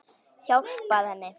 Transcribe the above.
Hjálpað henni.